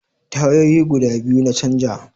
Tayoyi guda biyu na canja